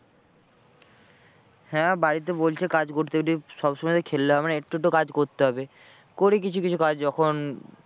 হ্যাঁ বাড়িতে বলছে কাজ করতে এটাই সবসময় তো খেললে হবে না একটু তো কাজ করতে হবে। করি কিছু কিছু কাজ যখন